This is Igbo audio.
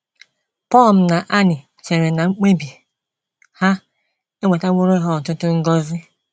Pum na Anny chere na mkpebi ha ewetaworo ha ọtụtụ ngọzi.